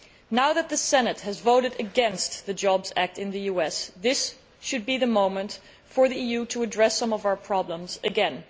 Now that the Senate has voted against the Jobs Act in the US, this should be the moment for the EU to address some of our problems again.